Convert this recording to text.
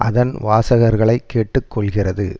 அதன் வாசகர்களை கேட்டு கொள்கிறது